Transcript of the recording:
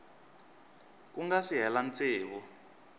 ku nga si hela tsevu